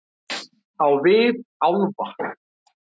Á vit álfa-